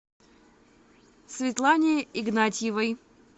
светлане игнатьевой